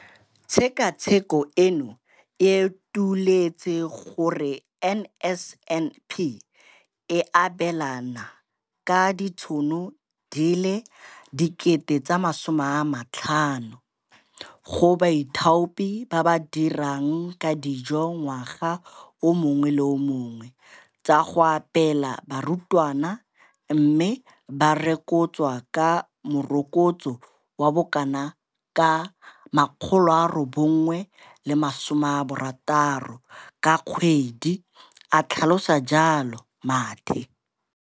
Tshekatsheko eno e utolotse gore NSNP e abelana ka ditšhono di feta 50 000 go baithaopi ba ba dirang ka dijo ngwaga o mongwe le o mongwe tsa go apeela barutwana, mme ba rokotswa ka morokotso wa bokanaka ka R960 ka kgwedi, a tlhalosa jalo Mathe.